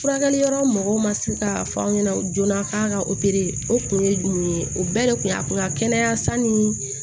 Furakɛli yɔrɔ mɔgɔw ma se k'a fɔ aw ɲɛna joona k'a ka o kun ye jumɛn ye o bɛɛ de kun y'a kun ka kɛnɛya sanni